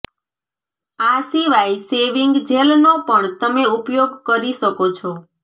આ સિવાય શેવિંગ જેલનો પણ તમે ઉપયોગ કરી શકો છો